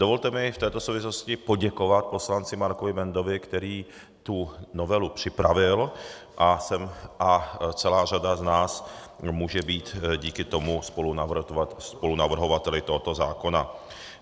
Dovolte mi v této souvislosti poděkovat poslanci Markovi Bendovi, který tu novelu připravil, a celá řada z nás může být díky tomu spolunavrhovateli tohoto zákona.